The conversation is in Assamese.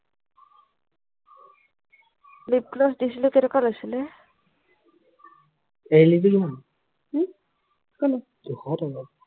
lip gloss দিছিলো কেইটকা লৈছিলে উম কোনটো ছশ টকা